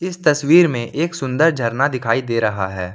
तस्वीर में एक सुंदर झरना दिखाई दे रहा है।